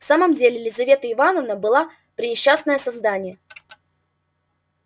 в самом деле лизавета ивановна была пренесчастное создание